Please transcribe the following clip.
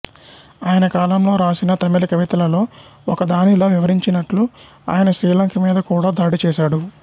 ఆయన కాలంలో రాసిన తమిళ కవితలలో ఒకదానిలో వివరించినట్లు ఆయన శ్రీలంక మీద కూడా దాడి చేశాడు